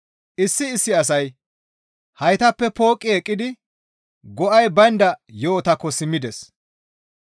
Issi issi asay haytappe pooqqi eqqidi go7ay baynda yo7otakko simmides.